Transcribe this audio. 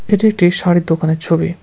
এটা একটি শাড়ির দোকানের ছবি।